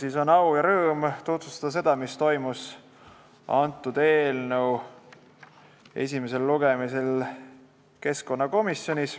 Minul on au ja rõõm tutvustada seda, mis toimus eelnõu esimesel lugemisel keskkonnakomisjonis.